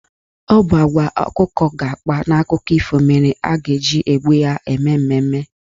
Ọ bụ agwa ọkụkọ ga-akpa n'akụkọ ifo mere a ga-eji egbu ya eme mmemme.